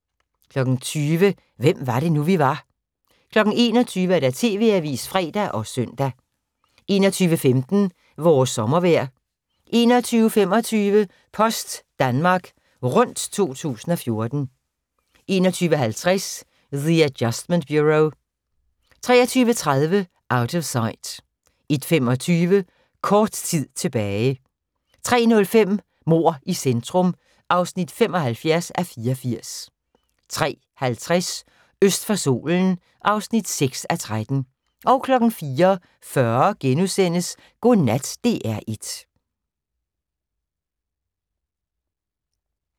20:00: Hvem var det nu, vi var 21:00: TV-avisen (fre og søn) 21:15: Vores sommervejr 21:25: Post Danmark Rundt 2014 21:50: The Adjustment Bureau 23:30: Out of Sight 01:25: Kort tid tilbage 03:05: Mord i centrum (75:84) 03:50: Øst for solen (6:13) 04:40: Godnat DR1 *